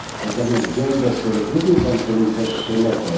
Natomiast błędy, o których mówił Pan Komisarz Šemeta...